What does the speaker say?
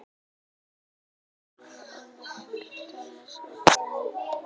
Etanól hefur áhrif á mörg svæði í heilanum, til dæmis dreif, mænu, hnykil og heilabörk.